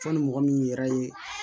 Sɔnni mɔgɔ min yɛrɛ ye